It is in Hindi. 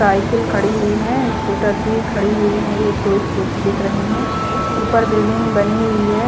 साइकिल खड़ी हुई है स्कूटर भी खड़ी हुई है एक दो स्कूटी दिख रही है उपर बिल्डिंग बनी हुई है।